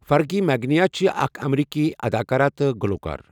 Fergie مغنیه چھِ اَکھ اَمریٖکی اَداکارہ تہٕ گُلوکار.